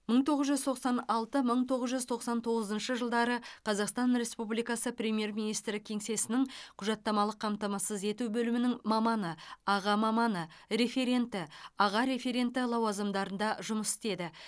мың тоғыз жүз тоқсан алты мың тоғыз жүз тоқсан тоғызыншы жылдары қазақстан республикасы премьер министрі кеңсесінің құжаттамалық қамтамасыз ету бөлімінің маманы аға маманы референті аға референті лауазымдарында жұмыс істеді